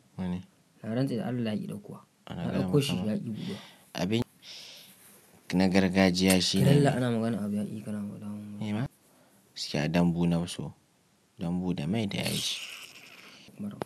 Wani? Naranta da Allah yayi ɗauko wa. Abinci na gargajiya shine lallai ana magana abin yayi daɗi kana. Eh ma? Gaskiya dambu nafiso, dambu da mai da yaji.